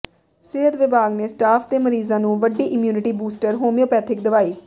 ਸਿਹਤ ਵਿਭਾਗ ਨੇ ਸਟਾਫ ਤੇ ਮਰੀਜ਼ਾਂ ਨੂੰ ਵੰਡੀ ਇਮਿਊਨਿਟੀ ਬੂਸਟਰ ਹੋਮਿਓਪੈਥਿਕ ਦਵਾਈ